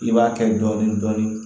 I b'a kɛ dɔɔnin dɔɔnin dɔɔnin